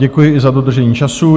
Děkuji i za dodržení času.